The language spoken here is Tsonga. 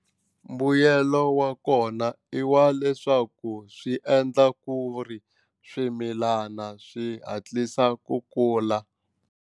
Mbuyelo wa kona i wa leswaku swi endla ku ri swimilana swi hatlisa ku kula.